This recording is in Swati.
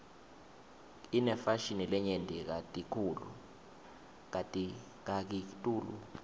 inefashini lenyenti kakitulu